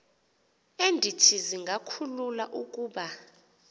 endithi zingakhulula ukuba